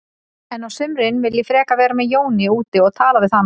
En á sumrin vil ég frekar vera með Jóni úti og tala við hann.